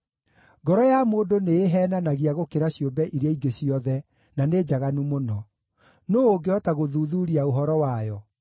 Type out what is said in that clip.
Ngoro ya mũndũ nĩĩheenanagia gũkĩra ciũmbe iria ingĩ ciothe, na nĩ njaganu mũno. Nũũ ũngĩhota gũthuuthuuria ũhoro wayo?